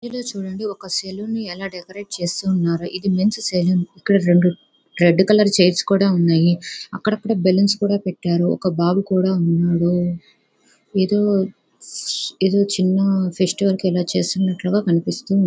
ఇది చూడండి ఒక సెలూన్ ఎలా డెకరేట్ చేస్తున్నారు ఇది మెన్స్ సెలూన్ ఇక్కడ రెండు రెడ్ కలర్ చైర్స్ కూడా ఉన్నాయి. అక్కడక్కడ బెలూన్స్ కూడా పెట్టారు ఒక బాబు కూడా ఉన్నాడు ఏదో ఏదో చిన్న ఫెస్టివల్ కి ఇలా చేస్తున్నట్లుగా కనిపిస్తోంది.